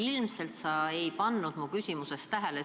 Ilmselt sa ei kuulanud mu küsimust hoolega.